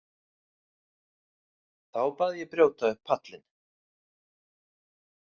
Þá bað ég brjóta upp pallinn.